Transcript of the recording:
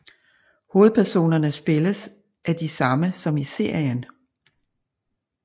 Hovedpersonerne spilles af de samme som i serien